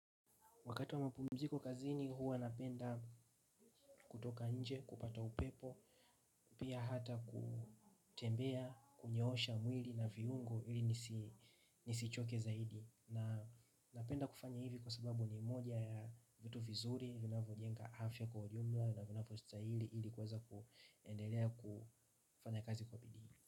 Wakati wa mapumziko kazini huwa napenda kutoka nje, kupata upepo, pia hata kutembea, kunyoosha mwili na viungo ili nisichoke zaidi. Na napenda kufanya hivi kwa sababu ni moja ya vitu vizuri, vinavyo jenga afya kwa ujumla na vinavyo stahili ili kuweza kuendelea kufanya kazi kwa bidii.